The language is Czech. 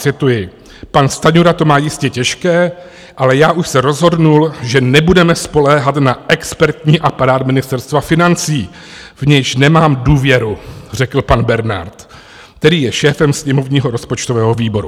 Cituji: Pan Stanjura to má jistě těžké, ale já už se rozhodl, že nebudeme spoléhat na expertní aparát Ministerstva financí, v nějž nemám důvěru, řekl pan Bernard, který je šéfem sněmovního rozpočtového výboru.